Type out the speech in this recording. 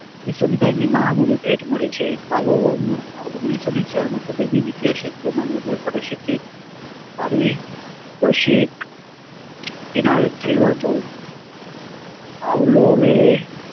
અભિસંધાનની મહામૂલ્ય ભેટ મળી છે ઓગણીસો ચારમાં તબીબીવિદ્યા ક્ષેત્રમાં nobel પારિતોષિક, પારિતોષિક એનાયત થયું હતું.